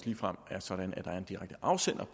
ligefrem er sådan at der er en direkte afsender